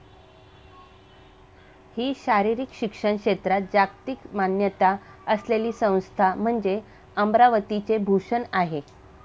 हि शारीरिक शिक्षण क्षेत्रात जागतिक मान्यता असलेली संस्था म्हणजे अमरावतीचे भूषण आहे.